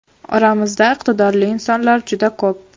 Oramizda iqtidorli insonlar juda ko‘p.